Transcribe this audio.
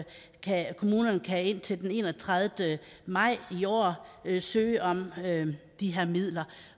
kommunerne kan indtil den enogtredivete maj i år søge om de her midler